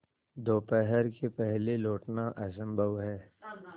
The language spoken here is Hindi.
दोपहर के पहले लौटना असंभव है